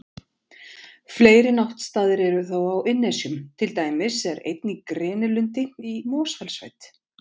Fleiri náttstaðir eru þó á Innnesjum, til dæmis er einn í grenilundi í Mosfellssveit.